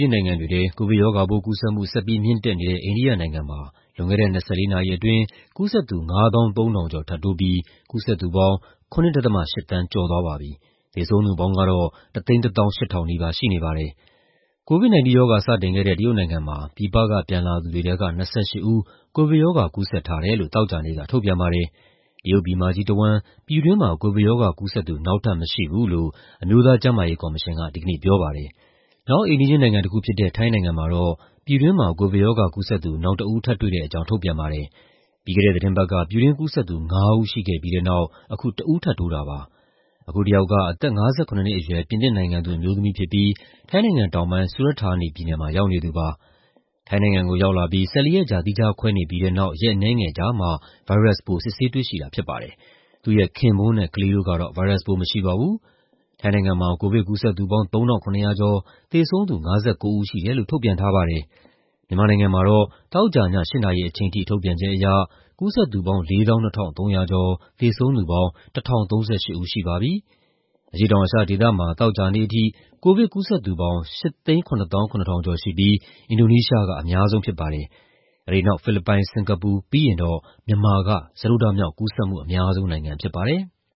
ျင်းနိုင်ငံတွေထဲ ကိုဗစ်ရောဂါပိုး ကူးစက်မှု ဆက်ပြီး မြင့်တက်နေတဲ့ အိန္ဒိယနိုင်ငံမှာ လွန်ခဲ့တဲ့ ၂၄ နာရီအတွင်း ကူးစက်သူ ၅၃,၀၀၀ ကျော်ထပ်တိုးပြီး ကူးစက်သူပေါင်း ၇.၈ သန်း ကျော်သွားပါပြီ။ သေဆုံးသူပေါင်းကတော့ ၁၁၈,၀၀၀ နီးပါး ရှိနေပါတယ်။ COVID-19 ရောဂါ စတင်ခဲ့တဲ့ တရုတ်နိုင်ငံမှာ ပြည်ပက ပြန်လာသူတွေထဲက ၂၈ ဦး ကိုဗစ်ရောဂါ ကူးစက်ထားတယ်လို့ သောကြာနေ့က ထုတ်ပြန်ပါတယ်။ တရုတ်ပြည်မကြီးတဝန်း ပြည်တွင်းမှာ ကိုဗစ်ရောဂါကူးစက်သူ နောက်ထပ်မရှိဘူးလို့ အမျိုးသားကျန်းမာရေးကော်မရှင်က ဒီကနေ့ ပြောပါတယ်။ နောက် အိမ်နီးချင်းနိုင်ငံတခုဖြစ်တဲ့ ထိုင်းနိုင်ငံမှာတော့ ပြည်တွင်းမှာ ကိုဗစ်ရောဂါကူးစက်သူ နောက်တဦး ထပ်တွေ့တဲ့အကြောင်း ထုတ်ပြန်ပါတယ်။ ပြီးခဲ့တဲ့သီတင်းပတ်က ပြည်တွင်းကူးစက်သူ ၅ ဦး ရှိခဲ့ပြီးတဲ့နောက် အခု တဦး ထပ်တိုးတာပါ။ အခုတယောက်က အသက် ၅၇ နှစ်အရွယ် ပြင်သစ်နိုင်ငံသူ အမျိုးသမီးဖြစ်ပြီး ထိုင်းတောင်ပိုင်း Surat Thani ပြည်နယ်မှာ ရောက်နေသူပါ။ ထိုင်းနိုင်ငံကို ရောက်လာပြီး ၁၄ ရက်ကြာ သီးခြားခွဲနေပြီးတဲ့နောက် ရက်အနည်းငယ်ကြာမှ ဗိုင်းရပ်စ်ပိုး စစ်ဆေးတွေ့ရှိတာ ဖြစ်ပါတယ်။ သူ့ရဲ့ခင်ပွန်းနဲ့ ကလေးတို့ကတော့ ဗိုင်းရပ်စ်ပိုး မရှိပါဘူး။ ထိုင်းနိုင်ငံမှာ ကိုဗစ်ကူးစက်သူပေါင်း ၃,၇၀၀ ကျော်၊ သေဆုံးသူ ၅၉ ဦးရှိတယ်လို့ ထုတ်ပြန်ထားပါတယ်။ မြန်မာနိုင်ငံမှာတော့ သောကြာည ၈ နာရီချိန်ထိ ထုတ်ပြန်ချက်အရ ကူးစက်သူပေါင်း ၄၂,၃၀၀ ကျော်၊ သေဆုံးသူပေါင်း ၁,၀၃၈ ဦးရှိပါပြီ။ အရှေ့တောင်အာရှဒေသမှာ သောကြာနေ့အထိ ကိုဗစ်ကူးစက်သူပေါင်း ၈၇၇,၀၀၀ ကျော်ရှိပြီး အင်ဒိုနီးရှားက အများဆုံးဖြစ်ပါတယ်။ အဲဒီနောက် ဖိလစ်ပိုင်၊ စင်ကာပူ၊ ပြီးရင်တော့ မြန်မာက စတုတ္ထမြောက် ကူးစက်မှုအများဆုံးနိုင်ငံ ဖြစ်ပါတယ်။